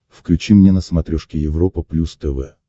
включи мне на смотрешке европа плюс тв